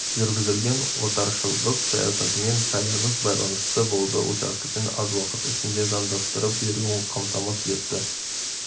жүргізілген отаршылдық саясатымен тығыз байланысты болды учаскесін аз уақыт ішінде заңдастырып беруін қамтамасыз етті